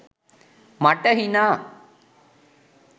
මට හිනා.